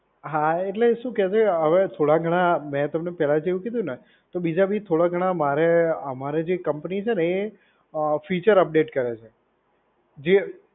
હા એટલે શે કે ભઈ હવે થોડા ઘણા મેં તમને પહેલા જ એવું કીધું ને. તો બીજા બી થોડા ઘણા મારે આમરે જે કંપની છે ને એ અ ફીચર અપડેટ કરે છે. જે